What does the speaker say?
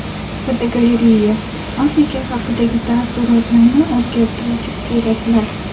Fotogalereya: Afrika haqidagi taassurotlarni o‘zgartiruvchi suratlar.